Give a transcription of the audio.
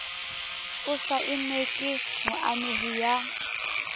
o saennwe ke moamehi ya